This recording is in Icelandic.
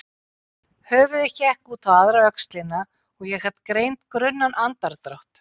Höfuðið hékk út á aðra öxlina og ég gat greint grunnan andardrátt.